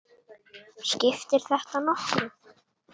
Skiptir þetta nokkru?